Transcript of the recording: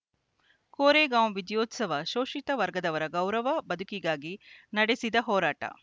ಕೋರೆಗಾಂವ್‌ ವಿಜಯೋತ್ಸವ ಶೋಷಿತ ವರ್ಗದವರು ಗೌರವ ಬದುಕಿಗಾಗಿ ನಡೆಸಿದ ಹೋರಾಟ